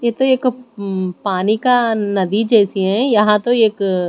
ये तो एक म् पानी का नदी जैसी है यहां तो एक--